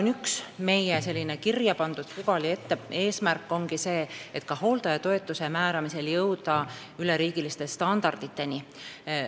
Aga üks meie sinna kirja pandud pügal ja eesmärk ongi see, et ka hooldajatoetuse määramisel on vaja jõuda üleriigiliste standarditeni.